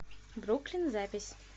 бруклин запись